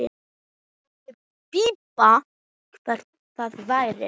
Spurði Bibba hvað það væri.